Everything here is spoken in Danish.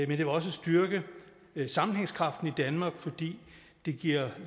det vil også styrke sammenhængskraften i danmark fordi det bliver